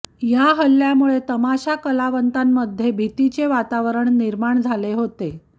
या हल्ल्यामुळे तमाशा कलावंतांमध्ये भीतीचे वातावरण निर्माण झाले होते